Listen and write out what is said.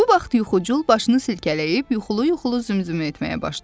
Bu vaxt yuxucul başını silkələyib yuxulu-yuxulu zümzümə etməyə başladı.